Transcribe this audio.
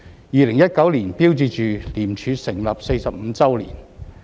2019年標誌着廉署成立45周年。